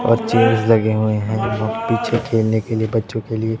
और लगे हुएं हैं जो पीछे खेलने के लिए बच्चो के लिए--